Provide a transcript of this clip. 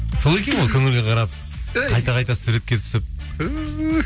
сол екен ғой көңілге қарап әй қайта қайта суретке түсіп түһ